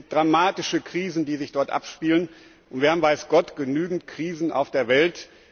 Es sind dramatische Krisen, die sich dort abspielen, und wir haben weiß Gott genügend Krisen auf der Welt.